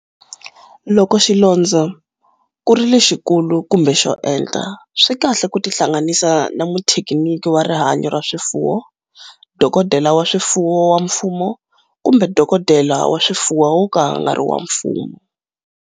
Loko xilondzo ku ri lexikulu kumbe xo enta, swi kahle ku tihlanganisa na muthekiniki wa rihanyo ra swifuwo, dokodela wa swifuwo wa mfumo kumbe dokodela wa swifuwo wo ka a nga ri wa mfumo.